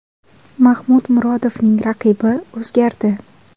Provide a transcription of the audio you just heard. Mahmud Murodovning raqibi o‘zgardi.